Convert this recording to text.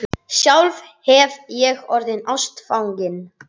Sjálf hef ég orðið ástfangin.